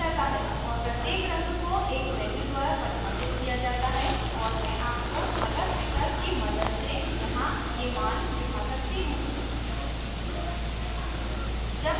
और प्रत्येक रंग को एक values द्वारा परिभाषित किया जाता है और मैं आपको color picker की मदद से यहाँ ये मान दिखा सकती हूँ